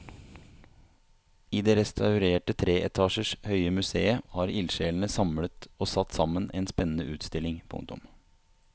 I det restaurerte tre etasjer høye museet har ildsjelene samlet og satt sammen en spennende utstilling. punktum